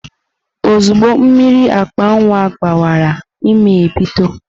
Ozugbo mmiri akpa nwa gbawara ímé ebido.